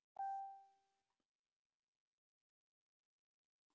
Þess vegna er ég ekki á þeim.